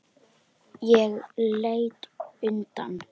Ég leit undan.